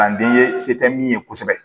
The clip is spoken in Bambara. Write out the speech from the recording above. An den ye se tɛ min ye kosɛbɛ